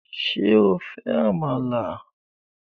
Ṣé o fẹ́ Àmàlà?